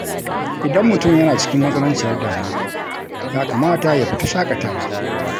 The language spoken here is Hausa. Idan mutum yana cikin matsananciyar damuwa, ya kamata ya fita shaƙatawa.